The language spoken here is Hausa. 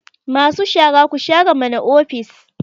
Cleaners, tidy up the office